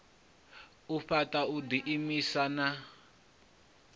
u fhaṱa u ḓiimisa na